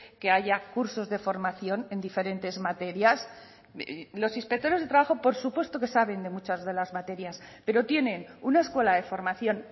que haya cursos de formación en diferentes materias los inspectores de trabajo por supuesto que saben de muchas de las materias pero tienen una escuela de formación